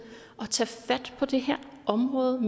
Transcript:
at tage fat på det her område